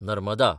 Narmada